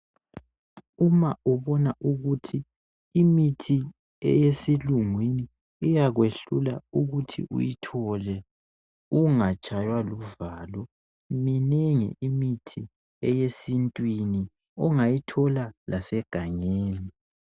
Uma ubona ukuthi imithi eyesilungwini iyakwehlula ukuthi uyithole, ungatshaywa luvalo. Minengi imithi eyesintwini ungayithola lasegangeni.